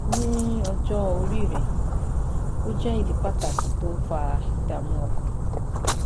Ní ọjọ́ orí rẹ,ó jẹ́ ìdí pàtàkì tó ń fa ìdààmú ọkàn